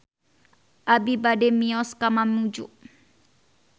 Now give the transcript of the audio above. Abi bade mios ka Mamuju